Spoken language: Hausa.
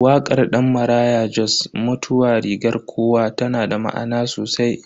Wakar Dan Maraya Jos "Mutuwa rigar kowa" tana da ma'ana sosai.